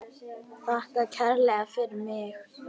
Þakka kærlega fyrir mig.